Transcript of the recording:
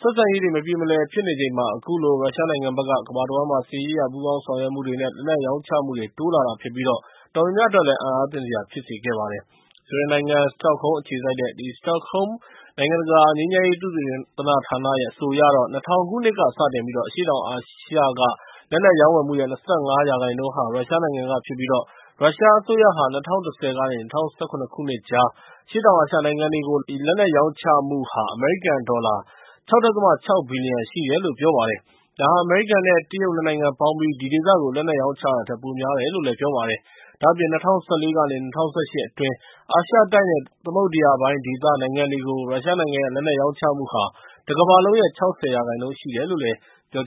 ဆက်ဆံရေးတွေ မပြေမလည် ဖြစ်နေချိန်မှာ အခုလို ရုရှားနိုင်ငံဘက်က ကမ္ဘာတဝှမ်းမှာ စစ်ရေးအရ ပူးပေါင်းဆောင်ရွက်မှုတွေနဲ့ လက်နက်ရောင်းချမှုတွေ တိုးလာတာဖြစ်ပြီး အံ့အားသင့်စရာ ဖြစ်စေခဲ့ပါတယ်။ ဆွီဒင်နိုင်ငံ စတော့ဟုမ်းအခြေစိုက်တဲ့ စတော့ဟုမ်း နိုင်ငံတကာ ငြိမ်းချမ်းရေး သုတေသနဌာနရဲ့ အဆိုအရတော့ ၂၀၀၀ ခုနှစ်ကစတင်ပြီး အရှေ့တောင်အာရှက လက်နက်ရောင်းဝယ်မှုရဲ့ ၂၅ ရာခိုင်နှုန်းဟာ ရုရှားနိုင်ငံကဖြစ်ပြီး ရုရှားအစိုးရဟာ ၂၀၁၀ ကနေ ၂၀၁၇ ခုနှစ်ကြား အရှေ့တောင်အာရှ နိုင်ငံတွေကို လက်နက်ရောင်းချမှုဟာ အမေရိကန်ဒေါ်လာ ၆.၆ ဘီလီယံ ရှိတယ်လို့ ပြောပါတယ်။ ဒါဟာ အမေရိကန်နဲ့ တရုတ် နှစ်နိုင်ငံပေါင်းပြီး ဒီဒေသကို လက်နက်ရောင်းချတာထက် ပိုများတယ်လို့ ပြောပါတယ်။ ဒါ့အပြင် ၂၀၁၄ ကနေ ၂၀၁၈ အတွင်း အာရှတိုက်နဲ့ သမုဒ္ဒရာပိုင်းဒေသ နိုင်ငံတွေကို ရုရှားနိုင်ငံရဲ့ လက်နက်ရောင်းချမှုဟာ တကမ္ဘာလုံးရဲ့ ၆၀ ရာခိုင်နှုန်း ရှိတယ်လို့လည်း ပြော